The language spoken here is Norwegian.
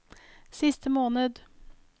siste måned